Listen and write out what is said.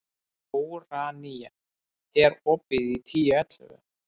Úranía, er opið í Tíu ellefu?